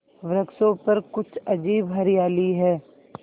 वृक्षों पर कुछ अजीब हरियाली है